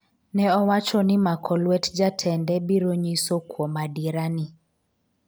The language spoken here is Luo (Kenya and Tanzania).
ne owacho ni mako lwet jatende biro nyiso kuom adiera ni